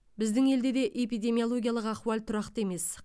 біздің елде де эпидемиологиялық ахуал тұрақты емес